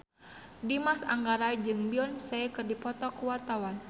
Dimas Anggara jeung Beyonce keur dipoto ku wartawan